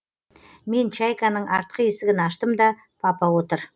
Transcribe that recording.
мен чайканың артқы есігін аштым да папа отыр